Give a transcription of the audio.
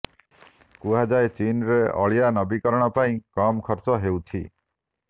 କୁହାଯାଏ ଚୀନ୍ରେ ଅଳିଆ ନବୀକରଣ ପାଇଁ କମ୍ ଖର୍ଚ୍ଚ ହେଉଛି